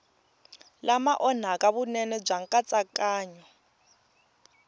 lama onhaka vunene bya nkatsakanyo